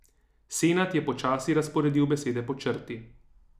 Senad je počasi razporedil besede po črti.